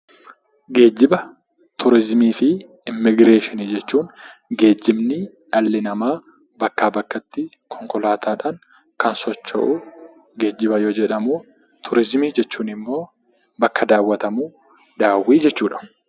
Geejjiba, Turiizimii fi Immigireeshinii jechuun, Geejjibni dhalli namaa bakkaa bakkatti konkolaataadhaan kan socho'u geejjiba yoo jedhamu; Turiizimii jechuun immoo, bakka daawwatamu, daawwii jechuu dha.